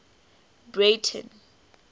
breyten